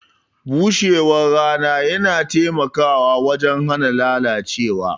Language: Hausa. Bushewar rana yana taimakawa wajen hana lalacewa.